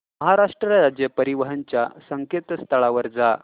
महाराष्ट्र राज्य परिवहन च्या संकेतस्थळावर जा